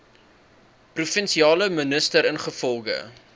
provinsiale minister ingevolge